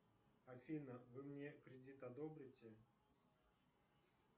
афина вы мне кредит одобрите